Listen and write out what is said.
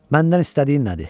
Məndən istədiyin nədir?